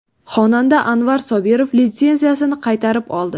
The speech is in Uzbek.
Xonanda Anvar Sobirov litsenziyasini qaytarib oldi.